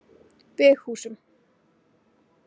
Veghúsum